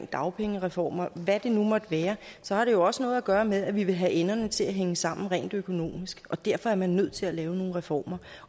dagpengereformer eller hvad det nu måtte være så har det jo også noget at gøre med at vi vil have enderne til at hænge sammen rent økonomisk derfor er man nødt til at lave nogle reformer